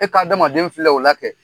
E ka adamaden filɛ o la kɛ